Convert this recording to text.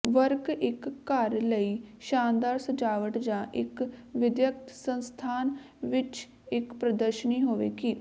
work ਇੱਕ ਘਰ ਲਈ ਸ਼ਾਨਦਾਰ ਸਜਾਵਟ ਜਾਂ ਇੱਕ ਵਿਦਿਅਕ ਸੰਸਥਾਨ ਵਿੱਚ ਇੱਕ ਪ੍ਰਦਰਸ਼ਨੀ ਹੋਵੇਗੀ